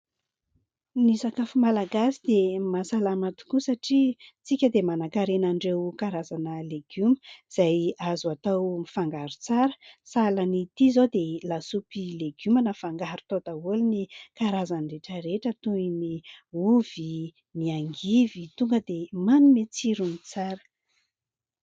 Ny sakafo malagasy dia mahasalama tokoa satria isika dia manankarena an'ireo karazana legioma izay azo atao mifangaro tsara. Sahala an'ity izao dia lasopy legioma. Nafangaro tao daholo ny karazany rehetra rehetra toy ny ovy, ny angivy tonga dia manome tsirony tsara.